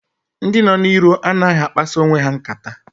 Ndị nọ n'iro anaghị akpasa onwe ha nkata.